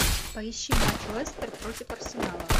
поищи матч лестер против арсенала